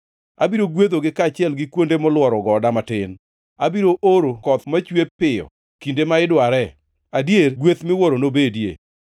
Abiro gwedhogi, kaachiel gi kuonde molworo goda matin. Abiro oro koth machwe piyo kinde ma idware; adier, gweth miwuoro nobedie.